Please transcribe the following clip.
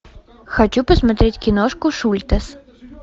хочу посмотреть киношку шультес